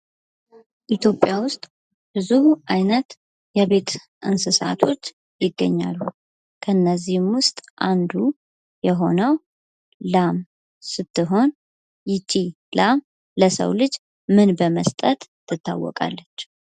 ኢትዮጵያ ውስጥ ብዙ ዓይነት የቤት እንስሳቶች ይገኛሉ ።ከእነዚህም ውስጥ አንዱ ላም ስትሆን ይቺ ላም ለሰው ልጅ ምን በመስጠት ትታወቃለች?